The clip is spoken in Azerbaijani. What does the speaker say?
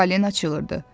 Falina çığırdı.